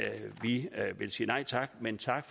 vil sige nej tak men tak